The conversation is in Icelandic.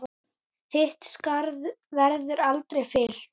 Þitt skarð verður aldrei fyllt.